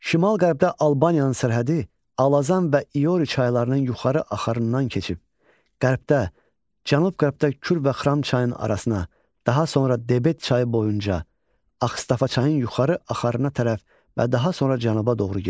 Şimal-qərbdə Albaniyanın sərhədi Alazan və İori çaylarının yuxarı axarından keçib, qərbdə, cənub-qərbdə Kür və Xram çayının arasına, daha sonra Debet çayı boyunca, Axstafa çayının yuxarı axarına tərəf və daha sonra cənuba doğru gedir.